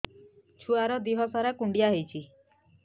ଛୁଆର୍ ଦିହ ସାରା କୁଣ୍ଡିଆ ହେଇଚି